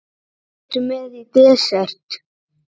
Hvað ertu með í desert?